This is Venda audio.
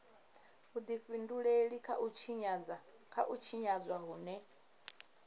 vhudifhinduleli kha u tshinyadzwa hune